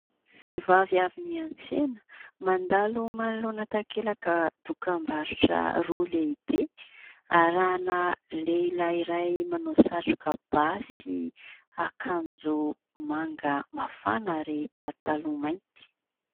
Vehivavy avy niantsena, mandalo manoloana takelaka dokam-barotra roa lehibe, arahina lehilahy iray manao satroka bà sy akanjo manga mafana ary pataloha mainty.